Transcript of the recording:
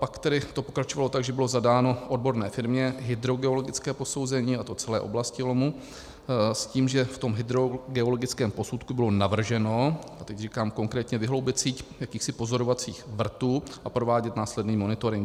Pak tedy to pokračovalo tak, že bylo zadáno odborné firmě hydrogeologické posouzení, a to celé oblasti lomu, s tím, že v tom hydrogeologickém posudku bylo navrženo, a teď říkám konkrétně, vyhloubit síť jakýchsi pozorovacích vrtů a provádět následný monitoring.